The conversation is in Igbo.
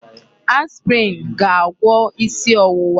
Aspirin ga-agwọ isi ọwụwa.